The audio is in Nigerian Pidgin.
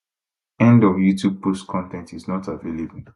end of youtube post con ten t is not available